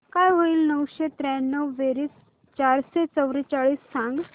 काय होईल नऊशे त्र्याण्णव बेरीज चारशे चव्वेचाळीस सांग